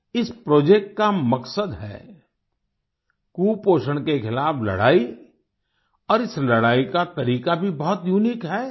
इस प्रोजेक्ट का मकसद है कुपोषण के खिलाफ लड़ाई और इस लड़ाई का तरीका भी बहुत यूनिक है